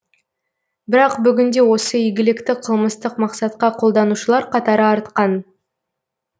бірақ бүгінде осы игілікті қылмыстық мақсатқа қолданушылар қатары артқан